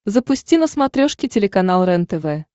запусти на смотрешке телеканал рентв